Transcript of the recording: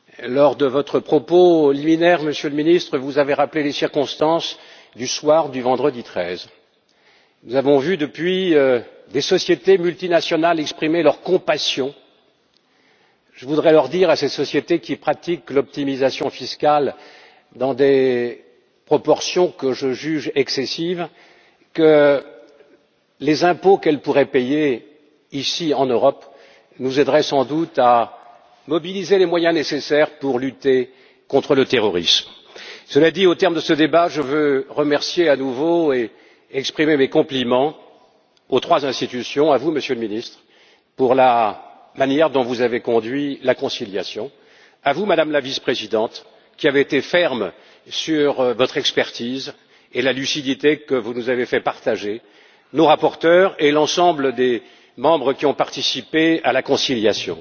Madame la Présidente, je veux saluer les paroles que vient de prononcer le ministre Gramegna sur la concurrence et l'optimisation fiscale. Lors de votre propos liminaire, Monsieur le Ministre, vous avez rappelé les circonstances du soir du vendredi 13. Nous avons vu depuis des sociétés multinationales exprimer leur compassion. Je voudrais dire à ces sociétés qui pratiquent l'optimisation fiscale dans des proportions que je juge excessives, que les impôts qu'elles pourraient payer ici, en Europe, nous aideraient sans doute à mobiliser les moyens nécessaires pour lutter contre le terrorisme. Cela dit, au terme de ce débat, je veux remercier à nouveau et exprimer mes compliments aux trois institutions à vous, Monsieur le Ministre, pour la manière dont vous avez conduit la conciliation, à vous, Madame la Vice présidente, qui avez été ferme sur votre expertise et la lucidité que vous nous avez fait partager, à nos rapporteurs et à l'ensemble des membres qui ont participé à la conciliation.